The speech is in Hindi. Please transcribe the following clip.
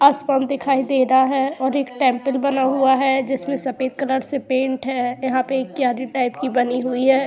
असपन दिखाई दे रहा है और एक टेंपल बना हुआ है। जिसमे सफेद कलर से पेंट है। यहाँ पे एक क्यारी टाइप की बनी हुई है।